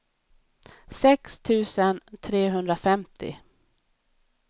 sex tusen trehundrafemtio